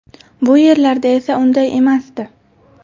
Bu yerlarda esa unday emasdi.